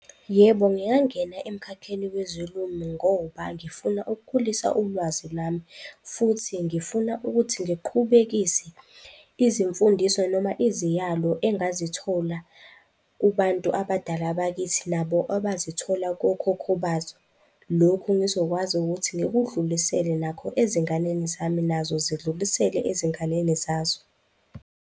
Yebo, ngingangena emkhakheni ngoba ngifuna ukukhulisa ulwazi lwami futhi ngifuna ukuthi ngiqhubekise izimfundiso noma iziyalo engazithola kubantu abadala bakithi nabo abazithola kokhokho bazo. Lokhu ngizokwazi ukuthi ngikudlulisele nakho ezinganeni zami nazo zidlulisele ezinganeni zazo.